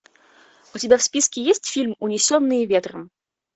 у тебя в списке есть фильм унесенные ветром